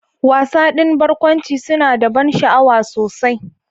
Wasa ɗin barkwanci suna da ban sha'awa sosai.